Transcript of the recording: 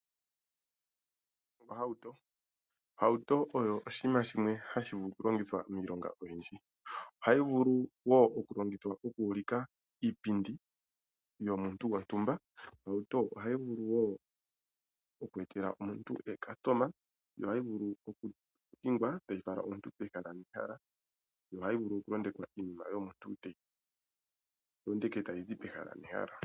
Ohauto, ohauto oyo oshinima shimwe hashi vulu oku longithwa miilonga oyindji. Ohayi vulu woo oku longithwa oku ulika iipindi yomuntu gontumba. Ohauto ohayi vulu woo oku etela omuntu ookastoma yo ohayi vulu oku hingwa tayi fala omuntu pehala nehala, yo ohayi vulu oku londekwa iinima yomuntu tayi londeke tayi zi pehala nehala.